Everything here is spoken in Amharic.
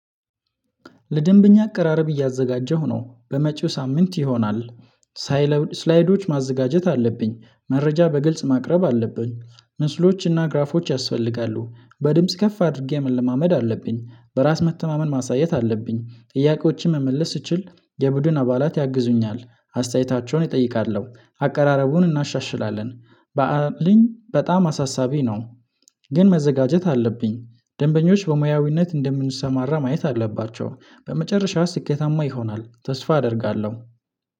ለደንብኛ አቀራረብ እያዘጋጀሁ ነው። በመጪው ሳምንት ይሆናል። ሳይለውድ ስላይዶች ማዘጋጀት አለብኝ። መረጃ በግልጽ ማቅረብ አለብኝ። ምስሎችና ግራፎች ያስፈልጋሉ። በድምጽ ከፍ አድርጌ መለማመድ አለብኝ። በራስ መተማመን ማሳየት አለብኝ። ጥያቄዎችን መመለስ ስችል የቡድን አባላት ያግዙኛል። አስተያየታቸውን እጠይቃለሁ። አቀራረቡን እናሻሽላለን። በአለኝ በጣም አሳሳቢ ነው። ግን መዘጋጀት አለብኝ። ደንበኞች በሙያዊነት እንደምንሰማራ ማየት አለባቸው። በመጨረሻ ስኬታማ ይሆናል፤ ተስፋ አደርጋለሁ።